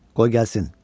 Qoy gəlsin!